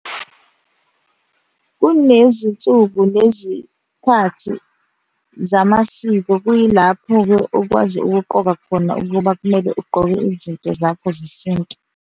Kunezinsuku nezikhathi zamasiko, kuyilapho-ke okwazi ukuqoka khona ukuba kumele ugqoke izinto zakho zesintu.